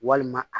Walima a